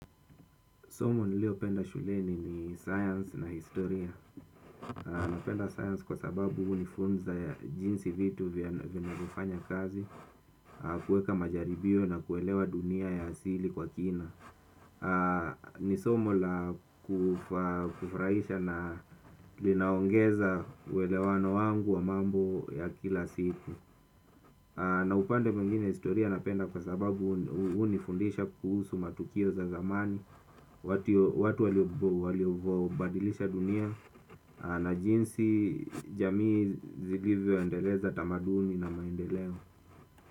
Somo niliyopenda shuleni ni science na historia. Napenda science kwa sababu hunifunza jinsi vitu vinavyofanya kazi. Kuweka majaribio na kuelewa dunia ya asili kwa kina. Ni somo la kufurahisha na linaongeza uwelewano wangu wa mambo ya kila siku. Na upande mwingine historia napenda kwa sababu hunifundisha kuhusu matukio za zamani. Watu waliobadilisha dunia na jinsi jamii zilivyoendeleza tamaduni na maendeleo.